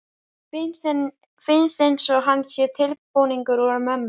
Finnst einsog hann sé tilbúningur úr mömmu.